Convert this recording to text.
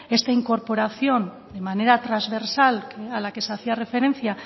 esta incorporación de manera transversal a la que se hacía referencia